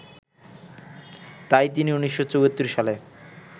তাই তিনি ১৯৭৪ সালে